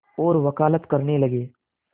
और वक़ालत करने लगे